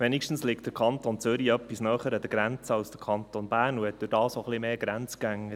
Wenigstens liegt der Kanton Zürich etwas näher an der Grenze als der Kanton Bern und hat dadurch auch etwas mehr Grenzgänger.